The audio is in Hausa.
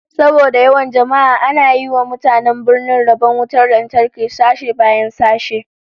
Saboda yawan jama'a ana yi wa mutanen birnin rabon wutar lantarki sashe bayan sashe